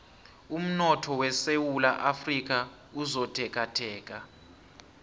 umnotho wesewula afrika usotekateka